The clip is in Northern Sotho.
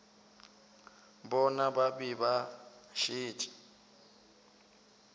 bona ba be ba šetše